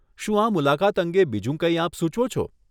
શું આ મુલાકાત અંગે બીજું કંઈ આપ સુચવો છો?